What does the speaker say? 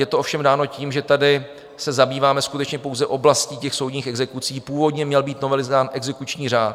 Je to ovšem dáno tím, že tady se zabýváme skutečně pouze oblastí těch soudních exekucí, původně měl být novelizován exekuční řád.